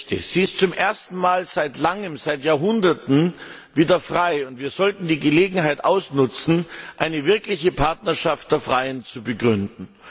Sie ist zum ersten Mal seit Langem seit Jahrhunderten wieder frei. Wir sollten die Gelegenheit nutzen, eine wirkliche Partnerschaft der Freien zu begründen.